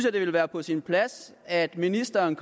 at det ville være på sin plads at ministeren